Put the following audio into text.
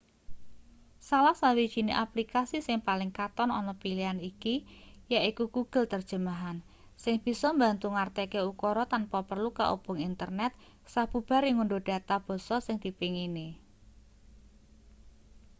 salah sawijine aplikasi sing paling katon ana pilihan iki yaiku google terjemahan sing bisa mbantu ngartekke ukara tanpa perlu kaubung internet sabubare ngundhuh data basa sing dipengini